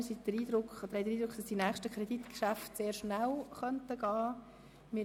Wir haben den Eindruck, dass die nächsten Kreditgeschäfte relativ schnell abgehandelt werden können.